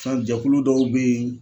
Fɛn jɛkulu dɔw bɛ yen